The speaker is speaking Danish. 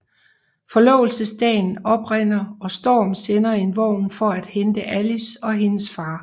Forlovelsesdagen oprinder og Strom sender en vogn for at hente Alice og hendes far